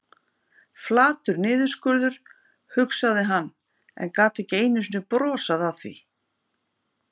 Flatur niðurskurður, hugsaði hann, en gat ekki einu sinni brosað að því.